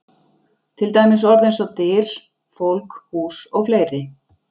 Til dæmis orð eins og: Dyr, fólk, hús og fleiri?